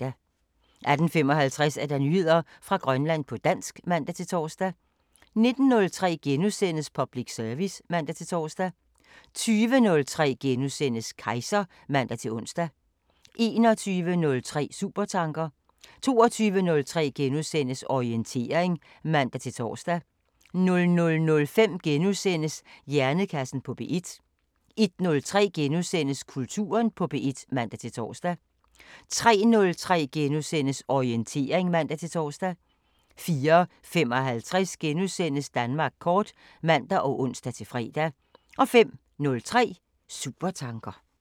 18:55: Nyheder fra Grønland på dansk (man-tor) 19:03: Public service *(man-tor) 20:03: Kejser *(man-ons) 21:03: Supertanker 22:03: Orientering *(man-tor) 00:05: Hjernekassen på P1 * 01:03: Kulturen på P1 *(man-tor) 03:03: Orientering *(man-tor) 04:55: Danmark kort *(man og ons-fre) 05:03: Supertanker